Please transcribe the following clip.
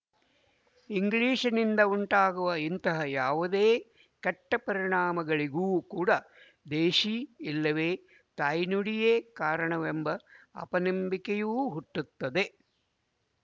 ಇಂಗ್ಲಿಶಿನಿಂದ ಉಂಟಾಗುವ ಇಂತಹ ಯಾವುದೇ ಕೆಟ್ಟಪರಿಣಾಮಗಳಿಗೂ ಕೂಡ ದೇಶಿ ಇಲ್ಲವೇ ತಾಯ್ನುಡಿಯೇ ಕಾರಣವೆಂಬ ಅಪನಂಬಿಕೆಯೂ ಹುಟ್ಟುತ್ತದೆ